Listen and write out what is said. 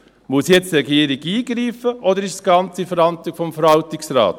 Muss die Regierung jetzt eingreifen, oder ist es ganz in der Verantwortung des Verwaltungsrats?